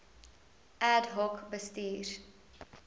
ad hoc bestuurs